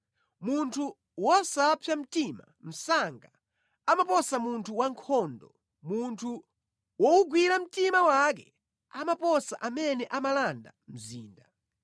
Munthu wosapsa mtima msanga amaposa munthu wankhondo, munthu wowugwira mtima wake amaposa amene amalanda mzinda.